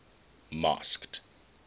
masked